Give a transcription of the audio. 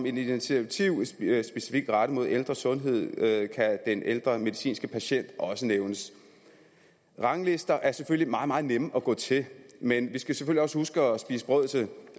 initiativ specifikt rettet mod ældres sundhed kan den ældre medicinske patient også nævnes ranglister er selvfølgelig meget meget nemme at gå til men vi skal også huske at spise brød til